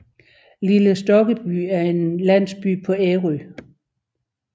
Lille Stokkeby er en landsby på Ærø